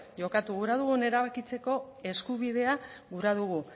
jokatu gura dugun erabakitzeko eskubidea gura dugu